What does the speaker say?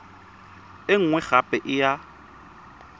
e nngwe gape e ya